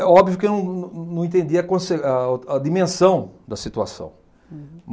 É óbvio que eu não não entendia a conse a a dimensão da situação.